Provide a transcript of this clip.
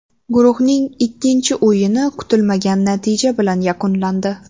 Guruhning ikkinchi o‘yini kutilmagan natija bilan yakunlandi.